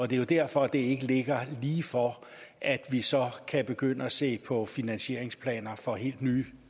det er jo derfor at det ikke ligger lige for at vi så kan begynde at se på finansieringsplaner for helt nye